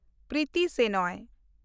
Priti Senoy